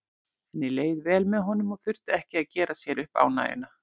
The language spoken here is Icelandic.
Henni leið vel með honum og þurfti ekki að gera sér upp ánægjuna.